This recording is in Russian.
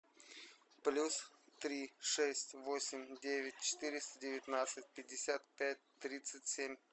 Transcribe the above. плюс три шесть восемь девять четыреста девятнадцать пятьдесят пять тридцать семь